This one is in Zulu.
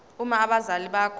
uma abazali bakho